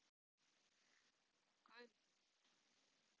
Guðgeir